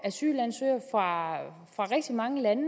asylansøgere fra rigtig mange lande